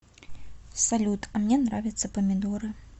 салют а мне нравятся помидоры